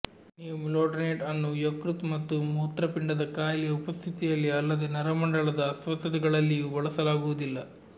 ನೀವು ಮಿಲ್ಡ್ರೋನೇಟ್ ಅನ್ನು ಯಕೃತ್ತು ಮತ್ತು ಮೂತ್ರಪಿಂಡದ ಕಾಯಿಲೆಯ ಉಪಸ್ಥಿತಿಯಲ್ಲಿ ಅಲ್ಲದೆ ನರಮಂಡಲದ ಅಸ್ವಸ್ಥತೆಗಳಲ್ಲಿಯೂ ಬಳಸಲಾಗುವುದಿಲ್ಲ